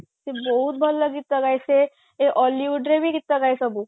ସେ ବହୁତ ଭଲ ଗୀତ ଗାଏ ସେ ସେ Ollywood ରେ ବି ଗୀତ ଗାଏ ସବୁ